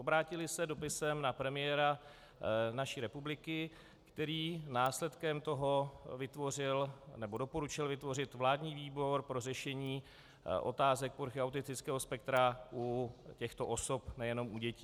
Obrátily se dopisem na premiéra naší republiky, který následkem toho vytvořil, nebo doporučil vytvořit vládní výbor pro řešení otázek poruchy autistického spektra u těchto osob, nejenom u dětí.